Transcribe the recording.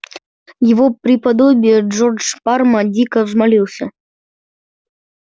его преподобие джордж парма дико взмолился